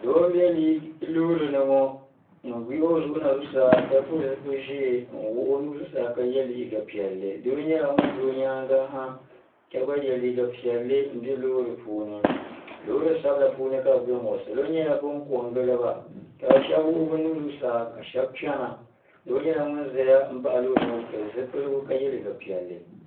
do n bɛ lori ni ŋɔ n yihi o zuɣ na zuɣ saa ka pɛli zibiligu ʒiɛ n wuɣ' o nu zuɣ saa ka yɛ liga piɛli do nyɛla ŋɔ bɛ o nyɛŋa ha ka gba yɛ liga piɛli n bɛ lori puuni lori sabinla puuni ka be bɛŋɔ salo nyɛla bɛn ko n giliba ka be shɛbi wuɣ' be nuu zuɣ saa ka shɛbi chɛna do nyɛla ŋɔ zan baɣ' lori ŋɔ ka pɛli zibiligu ka yɛ liga piɛli